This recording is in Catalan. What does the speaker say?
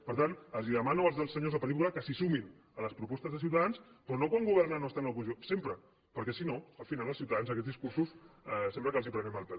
per tant els demano als senyors del partit popular que s’hi sumin a les propostes de ciutadans però no quan governen o estan a l’oposició sempre perquè si no al final als ciutadans amb aquests discursos sembla que els prenem el pèl